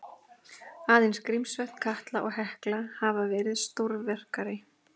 Aðeins Grímsvötn, Katla og Hekla hafa verið stórvirkari.